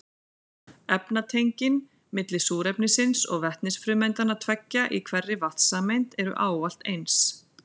Efnatengin milli súrefnisins og vetnisfrumeindanna tveggja í hverri vatnssameind eru ávallt eins.